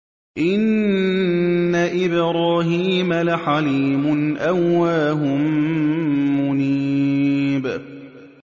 إِنَّ إِبْرَاهِيمَ لَحَلِيمٌ أَوَّاهٌ مُّنِيبٌ